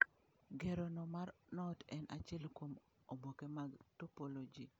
Ngero no mar knot en achiel kuom oboke mag topology.